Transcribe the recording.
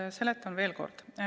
Ma seletan veel kord.